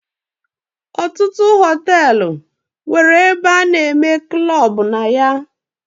Ọtụtụ hotelu nwere ebe ana eme klub na ya.